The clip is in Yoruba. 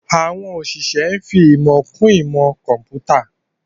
Àwọn òṣìṣẹ́ ń fi ìmọ̀ kún ìmọ̀ kọ̀ḿpútà